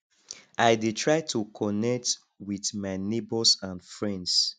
i dey try to connect with my neighbors and friends